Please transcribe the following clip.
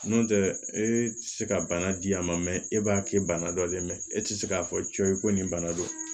N'o tɛ e tɛ se ka bana di a ma e b'a kɛ bana dɔ le mɛ e tɛ se k'a fɔ cɔyi ko nin bana don